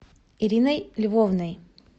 ириной львовной